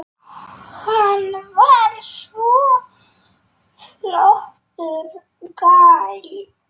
Hann var svo flottur gæi.